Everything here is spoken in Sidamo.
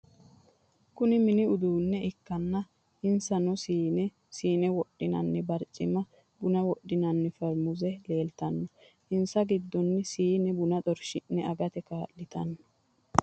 Kunni minni uduune ikanna insanno siinne, siinne wodhinnanni barciminna bunna wodhinnanni farmuuze leeltanno. Insa gidonni siinne bunna xarshi'ne agate kaa'litanno.